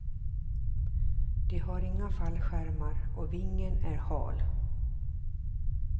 De har inga fallskärmar och vingen är hal.